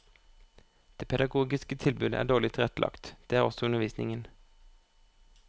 Det pedagogiske tilbudet er dårlig tilrettelagt, det er også undervisningen.